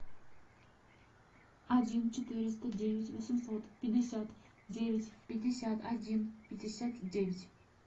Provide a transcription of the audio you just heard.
один четыреста девять восемьсот пятьдесят девять пятьдесят один пятьдесят девять